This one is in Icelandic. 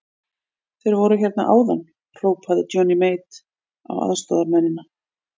Þeir voru hérna áðan, hrópaði Johnny Mate á aðstoðarmennina.